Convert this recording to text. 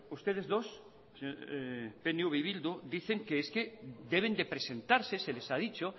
ustedes dos pnv y bildu dicen que es que deben de presentarse se les ha dicho